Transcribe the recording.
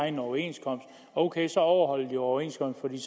en overenskomst ok så overholder de overenskomsten